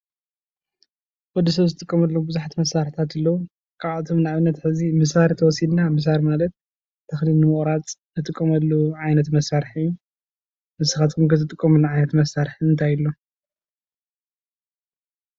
ወዲ ሰብ ዝጥቀመሎም ብዙሓት መሳርሕታት ኣለው። ካብኣቶም ሕዚ ንኣብነት ምሳር ተወሲድና ምሳር ማለት ተክሊ ንምቁራፅ እንጥቀመሉ ዓይነት መሳርሒ እዩ፡፡ ንስካትኩም ከ ትጥቀምሉ ዓይነት መሳርሒ እንታይ ሎ?